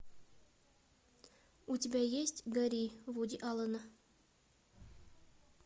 у тебя есть гори вуди аллена